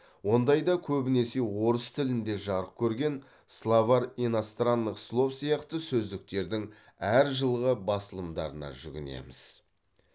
ондайда көбінесе орыс тілінде жарық көрген словарь иностранных слов сияқты сөздіктердің әр жылғы басылымдарына жүгінеміз